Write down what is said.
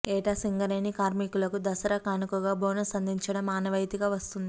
ఏటా సింగరేణి కార్మికులకు దసరా కానుకగా బోనస్ అందించడం ఆనవాయితీగా వస్తోంది